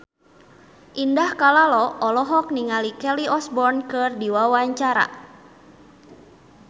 Indah Kalalo olohok ningali Kelly Osbourne keur diwawancara